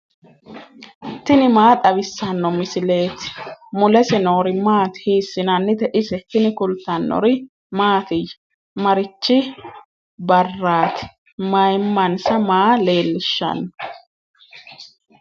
tini maa xawissanno misileeti ? mulese noori maati ? hiissinannite ise ? tini kultannori mattiya? Marichi barraatti? mayimmansa maa leelishshanno?